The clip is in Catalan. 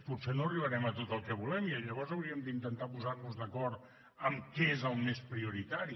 potser no arribarem a tot el que volem i llavors hauríem d’intentar posar nos d’acord en què és el més prioritari